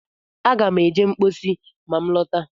Aga m eje mposi ma m lọta